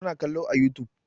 Ta na kallo a youtube